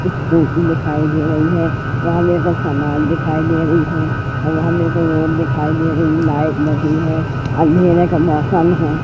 Scooty दिखाई दे रही है वहाँ मेरे को सामान दिखाई दे रही है और वहाँ मेरे को रोड दिखाई दे रही है लाइट लगी है अंधेरे का मौसम है।